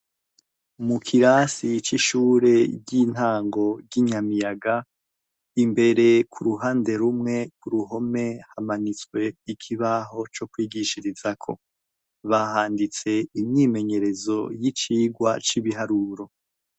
Mukirasi c'ishure ry'intango ry'inyamiyaga imbere ku ruhande rumwe ku ruhome hamanitswe ikibaho co kwigishirizako bahanditse imyimenyerezo y'icigwa c'ibiharuro.